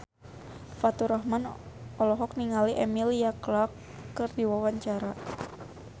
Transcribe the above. Faturrahman olohok ningali Emilia Clarke keur diwawancara